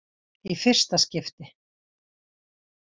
Í fyrsta skipti.